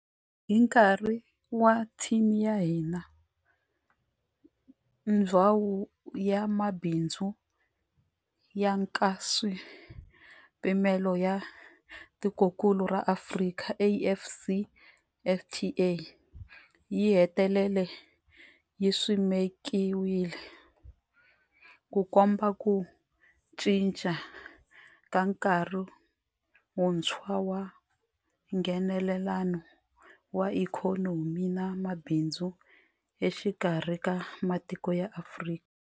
Hi nkarhi wa theme ya hina, Ndhawu ya Mabindzu ya Nkaswipimelo ya Tikokulu ra Afrika, AfCFTA, yi hetelele yi simekiwile, Ku komba ku cinca ka nkarhi wuntshwa wa Nghenelelano wa ikhonomi na mabindzu exikarhi ka matiko ya Afrika.